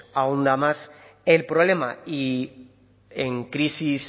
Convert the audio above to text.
ahonda más el problema y en crisis